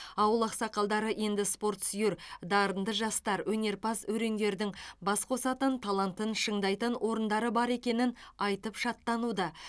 ауыл ақсақалдары енді спортсүйер дарынды жастар өнерпаз өрендердің бас қосатын талантын шыңдайтын орындары бар екенін айтып шаттануда